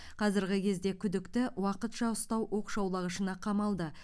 қазіргі кезде күдікті уақытша ұстау оқшаулағышына қамалды